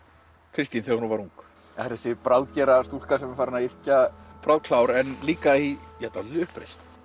Kristín þegar hún var ung það er þessi bráðgera stúlka sem er farin að yrkja en líka í dálítilli uppreisn